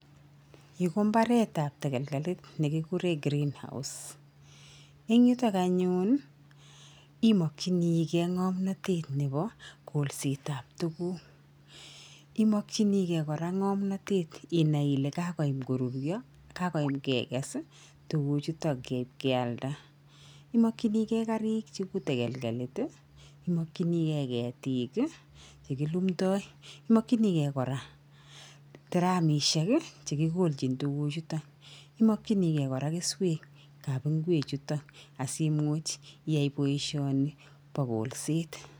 yuu ko mbaret tab tegelgeletne ne kigure greenhouse eng yutak anyun imakchinigey ngomnatet nebaa kolset ab tuguk , imakchinikey koraa ngomnate inai kole kagoyam korurya kagoyam kegeges tuguchutak kyaldaa imakchigey karik cheu tegelgelit imakichinikei ketik che kilumdai , imakichinikey koraa dramishek chekigolchin tuguchutak imakichinkey koraa keswek ab ngwek chutak asimuch iyai baishani baa kolset